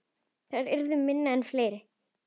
Þær yrðu minni en fleiri.